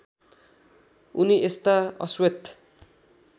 उनी यस्ता अश्वेत